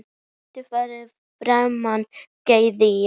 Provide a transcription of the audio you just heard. Hvað mundi fremur farmann gleðja?